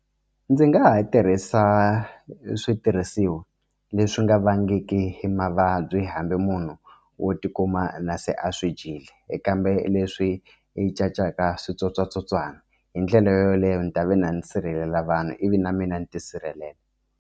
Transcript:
Ndzi nga ha tirhisa switirhisiwa leswi nga vangiki mavabyi hambi munhu wo tikuma na se a swi dyile kambe leswi cincaka switsotswatsotswana hi ndlela yoleyo ni ta va na ndzi sirhelela vanhu ivi na mina ni tisirhelela.